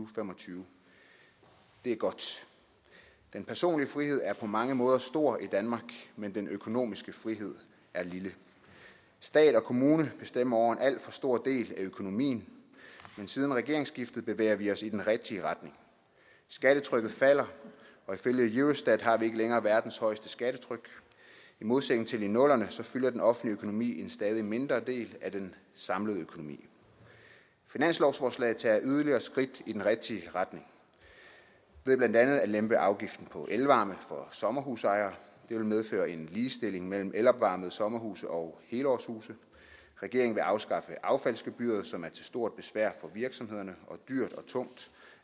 fem og tyve det er godt den personlige frihed er på mange måder stor i danmark men den økonomiske frihed er lille stat og kommune bestemmer over en alt for stor del af økonomien men siden regeringsskiftet har vi bevæget os i den rigtige retning skattetrykket falder og ifølge eurostat har vi ikke længere verdens højeste skattetryk i modsætning til i nullerne fylder den offentlige økonomi en stadig mindre del af den samlede økonomi finanslovsforslaget tager yderligere skridt i den rigtige retning ved blandt andet at lempe afgiften på elvarme for sommerhusejere det vil medføre en ligestilling mellem elopvarmede sommerhuse og helårshuse regeringen vil afskaffe affaldsgebyret som er til stort besvær for virksomhederne og dyrt og tungt